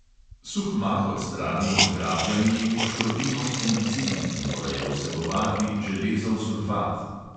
Suh mah odstranimo z grabljami in poškropimo z fungicidi , ki morajo vsebovati železov sulfat.